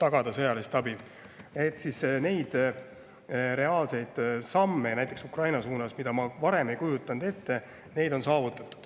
Neid reaalseid samme, mida ma varem ei kujutanud ette, on Ukraina suunas.